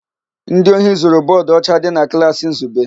Ndị ohi zuru bọọdụ ọcha dị na klaasị Nzube.